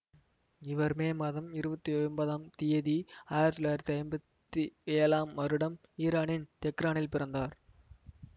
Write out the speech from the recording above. இவர் மே மாதம் இருபத்தி ஒன்பதாம் தியதி ஆயிரத்தி தொள்ளாயிரத்தி ஐம்பத்தி ஏழாம் வருடம் ஈரானின் தெஹ்ரானில் பிறந்தார்